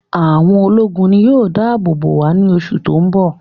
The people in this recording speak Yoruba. Àwọn ológun ni yóò dá àbò bò wá ní oṣù tó ń bọ̀